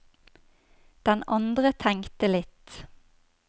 Den andre tenkte litt.